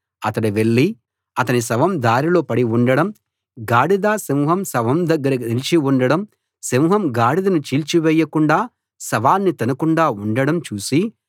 అతడు వెళ్లి అతని శవం దారిలో పడి ఉండడం గాడిద సింహం శవం దగ్గర నిలిచి ఉండడం సింహం గాడిదను చీల్చివేయకుండా శవాన్ని తినకుండా ఉండడం చూసి